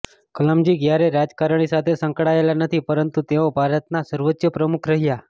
કલામજી ક્યારેય રાજકારણી સાથે સંકળાયેલા નથી પરંતુ તેઓ ભારતના સર્વોચ્ચ પ્રમુખ રહ્યાં